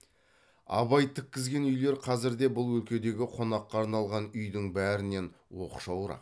абай тіккізген үйлер қазірде бұл өлкедегі қонаққа арналған үйдің бәрінен оқшауырақ